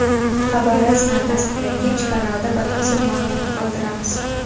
Xabar rasman tasdiqlangach kanalda batafsil maʼlumot qoldiramiz.